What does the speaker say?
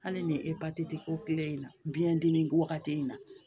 Hali ni e patiti tɛ ko kelen in na biɲɛ dimi wagati in na